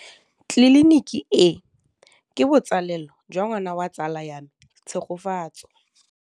Tleliniki e, ke botsalêlô jwa ngwana wa tsala ya me Tshegofatso.